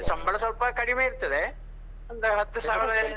ಸಂಬಳ ಸ್ವಲ್ಪ ಕಡಿಮೆ ಇರ್ತದೆ. ಒಂದು ಹತ್ತು ಸಾವಿರಯೆಲ್ಲಾ